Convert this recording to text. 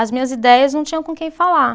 As minhas ideias não tinham com quem falar.